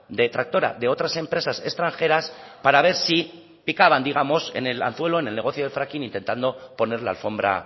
de tractora de otras empresas extranjeras para ver si picaban digamos en el anzuelo en el negocio del fracking intentando poner la alfombra